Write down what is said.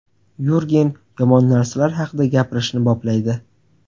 Yurgen yomon narsalar haqida gapirishni boplaydi.